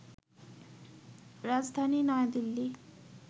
রাজধানী নয়াদিল্লি